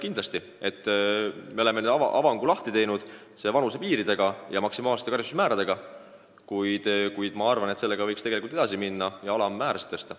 Kui me oleme avangu teinud vanusepiiride tõstmise ja maksimaalsete karistusmäärade karmistamisega, siis pärast seda võiks edasi minna ja karistuste alammäärasid tõsta.